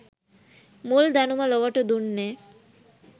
මුල් දැනුම ලොවට දුන්නේ